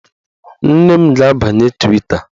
Nne m ga-abanye Twita